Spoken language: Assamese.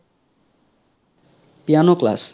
piano class?